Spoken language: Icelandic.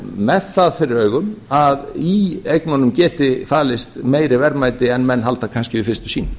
með það fyrir augum að í eignunum geti falist meiri verðmæti en menn halda kannski við fyrstu sýn